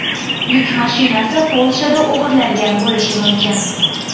Yuk mashinasi Polshada o‘g‘irlangan bo‘lishi mumkin.